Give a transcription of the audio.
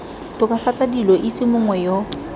tokafatsa dilo itse mongwe yo